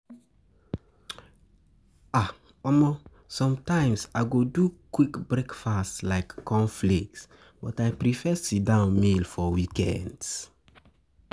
Sometimes, I go do quick breakfast like cornflakes, but I prefer sit-down meal for weekends.